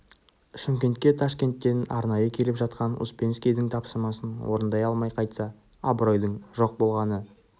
шымкентке ташкенттен арнайы келіп жатқан успенскийдің тапсырмасын орындай алмай қайтса абыройдың жоқ болғаны